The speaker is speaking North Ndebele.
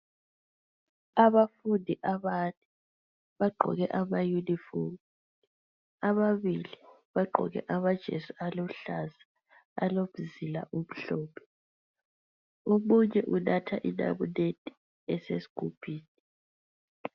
Abafundi abane bagqoke ama uniform ababili bagqoke amajesi aluhlaza alomzila omhlophe omunye unatha inamunede esesigubhini.